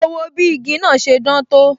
Mo wo bí igi náà ṣe dán tó